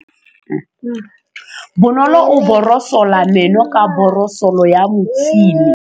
Bonolô o borosola meno ka borosolo ya motšhine.